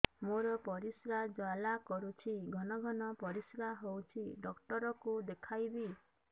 ମୋର ପରିଶ୍ରା ଜ୍ୱାଳା କରୁଛି ଘନ ଘନ ପରିଶ୍ରା ହେଉଛି ଡକ୍ଟର କୁ ଦେଖାଇବି